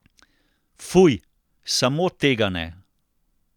Fuj, samo tega ne!